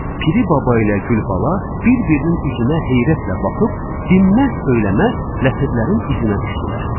Piri baba ilə Gülbala bir-birinin üzünə heyrətlə baxıb, dinməz-söyləməz ləpirlərin izinə düşdülər.